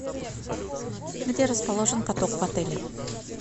где расположен каток в отеле